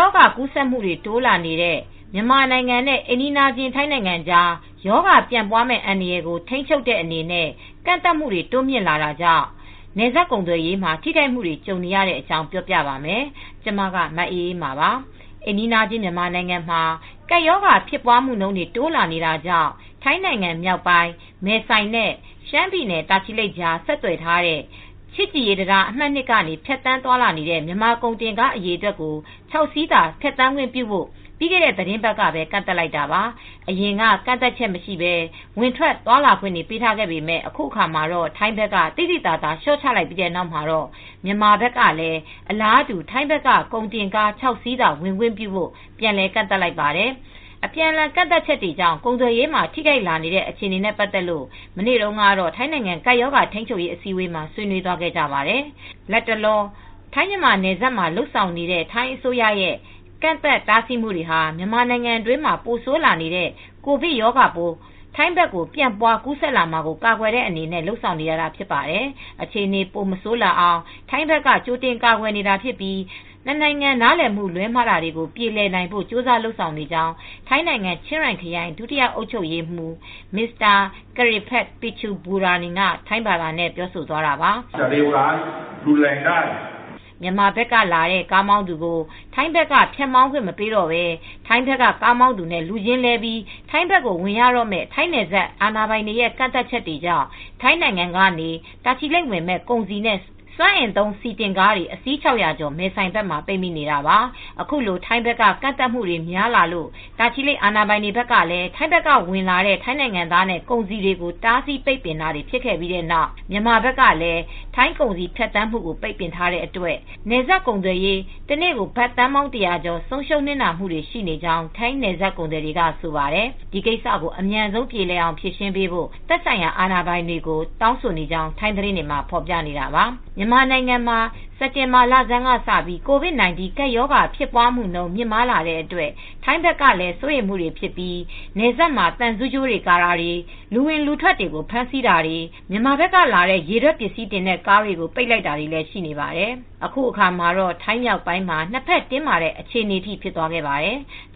ောဂါ ကူးစက်မှုတွေ တိုးလာနေတဲ့ မြန်မာနိုင်ငံနဲ့ အိမ်နီးချင်း ထိုင်းနိုင်ငံကြား ရောဂါပြန့်ပွားမယ့် အန္တရာယ်ကို ထိန်းချုပ်တဲ့အနေနဲ့ ကန့်သတ်မှုတွေ တိုးမြှင့်လာတာကြောင့် နယ်စပ်ကုန်သွယ်ရေးမှာ ထိခိုက်မှုတွေ ကြုံနေရတဲ့အကြောင်း ပြောပြပါမယ်။ ဗွီအိုအေမြန်မာပိုင်းသတင်းထောက် မအေးအေးမာက ထိုင်းမြန်မာနယ်စပ်ကနေ သတင်းပေးပို့ထားပါတယ်။ အိမ်နီးချင်း မြန်မာနိုင်ငံမှာ ကပ်ရောဂါဖြစ်ပွားမှုတွေ တိုးလာနေတာကြောင့် ထိုင်းနိုင်ငံမြောက်ပိုင်း မဲဆိုင်နဲ့ ရှမ်းပြည်နယ် တာချီလိတ်ကြား ဆက်သွယ်ထားတဲ့ ချစ်ကြည်ရေးတံတား အမှတ် ၂ ကနေ ဖြတ်သန်းနေတဲ့ မြန်မာကုန်တင်ကား အရေအတွက်ကို ခြောက် စီးသာ ဖြတ်သန်းခွင့်ပြုဖို့ ပြီးခဲ့တဲ့ သီတင်းပတ်ထဲမှာပဲ ကန့်သတ်လိုက်တာပါ။ အရင်က ကန့်သတ်ချက်မရှိဘဲ ဝင်ထွက်ခွင့်ပေးထားပေမဲ့ အခုအခါ ထိုင်းနိုင်ငံဘက်က သိသိသာသာ လျှော့ချလိုက်ပြီးနောက်မှာတေ့ မြန်မာဘက်ကလည်း အလားတူ ထိုင်းဘက်က ကုန်တင်ကား ခြောက် စီးသာ ဝင်ခွင့်ပြုဖို့ ပြန်လည်ကန့်သတ်လိုက်ပါတယ်။ အပြန်အလှန် ကန့်သတ်ချက်တွေကြောင့် ကုန်သွယ်ရေးမှာ ထိခိုက်လာနေတဲ့ အခြေအနေနဲ့ ပတ်သက်လို့ မနေ့တုန်းက ထိုင်းနိုင်ငံ ကပ်ရောဂါ ထိန်းချုပ်ရေး အစည်းအဝေးမှာ ဆွေးနွေးခဲ့ကြပါတယ်။ လတ်တလော ထိုင်းမြန်မာနယ်စပ်တွေမှာ လုပ်ဆောင်နေတဲ့ ထိုင်းအစိုးရဲ့ ကန့်သတ်တားဆီးမှုတွေဟာ မြန်မာနိုင်ငံအတွင်းမှာ ပိုးဆိုးလာနေတဲ့ ကိုဗစ်ရောဂါပိုး ထိုင်းဘက်ကိုပြန့်ပွားကူးဆက်လာမှာကို ကာကွယ်တဲ့အနေနဲ့ လုပ်ဆောင်နေတာဖြစ်တယ် အခြေအနေပိုဆိုးမလာရအောင် ထိုင်းက ကြိုတင်ကာကွယ်နေတာဖြစ်ပြီး နှစ်နိုင်ငံ နားလည်မှု လွဲမှားမှုတွေပြေလည်နိုင်ဖို့ ကြိုးစားလုပ်ဆောင်နေကြောင်း ထိုင်းနိုင်ငံ ချင်းရိုင်ခရိုင် ဒုတိယ အုပ်ချုပ်ရေးမှူး Mr. Krit Petch Petchaburanin က ထိုင်းဘာသာနဲ့ ပြောဆိုသွားတာပါ။ မြန်မာဘက်ကလာတဲ့ ကားမောင်းသူကို ထိုင်းဘက်ကို ဖြတ်မောင်းခွင့်မပေးတော့ဘဲ ထိုင်းဘက်ကကားမောင်းသူနဲ့ လူချင်းလဲပြီး ထိုင်းဘက်ကို ဝင်ရတော့မယ့် ထိုင်းနယ်စပ်အာဏာပိုင်တွေရဲ့ ကန့်သတ်ချက်ကြောင့် ထိုင်းနိုင်ငံကနေ တာချီလိတ် ဝင်မယ့် ကုန်စည်နဲ့ စွမ်းအင်သုံးဆီတင်ကားတွေ အစီး ၆၀၀ ကျော် မဲဆိုင်ဘက်မှာ ပိတ်နေတာပါ။ အခုလို ထိုင်းဘက်က ကန့်သတ်မှုတွေ ပိုများလာလို့ တာချီလိတ်အာဏာပိုင်တွေကလည်း ထိုင်းဘက်ကဝင်လာတဲ့ ထိုင်းနိုင်ငံသားနဲ့ ကုန်စည်တွေကို တားဆီးပိတ်ပင်တာတွေဖြစ်ခဲ့ပြီးတဲ့နောက် မြန်မာဘက်ကလည်း ထိုင်းကုန်စည် ဖြတ်သန်းမှုတွေကို ပိတ်ပင်ထားတဲ့အတွက် နယ်စပ်ကုန်သွယ်ရေး တနေ့ ဘတ်သန်းပေါင်း ၁၀၀ ကျော် ဆုံးရှုံးနစ်နာမှုတွေ ရှိနေကြောင်း ထိုင်းနယ်စပ်ကုန်သည်တွေက ဆိုပါတယ်။ ဒီကိစ္စကို အမြန်ဆုံးပြေလည်အောင်ဖြေရှင်းပေးဖို့သက်ဆိုင်ရာအာဏာပိုင်တွေကို တောင်းဆိုနေကြောင်း ထိုင်းသတင်းတွေမှာ ဖော်ပြနေတာပါ။ မြန်မာနိုင်ငံမှာ စက်တင်ဘာလဆန်းက စပြီး ကိုဗစ်၁၉ ကပ်ရောဂါဖြစ်ပွားမှုနှုန်း မြင့်မားလာတဲ့အတွက် ထိုင်းဘက်ကလည်း စိုးရိမ်မှုတွေဖြစ်ပြီး နယ်စပ်မှာ သံဆူးကြိုးတွေ ကာရံတာ လူဝင်လူထွက်တွေကို ဖမ်းဆီးတာတွေ မြန်မာဘက်ကလာတဲ့ ရေထွက်ပစ္စည်းတင်တဲ့ကားတွေကို ပိတ်ပင်လိုက်တာတွေလည်းရှိနေပါတယ်။ အခုအခါမှာတော့ ထိုင်းမြောက်ပိုင်းမှာ နှစ်ဘက်တင်းမာတဲ့ အခြေအနေထိဖြစ်သွားခဲ့ပါတယ်။